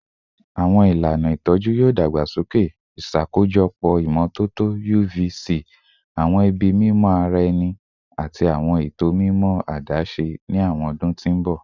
Awọn ilana itọju yoo dagbasoke, iṣakojọpọ imototo UV-C, awọn ibi mimọ ara ẹni, ati awọn eto mimọ adaṣe ni awọn ọdun ti n bọ.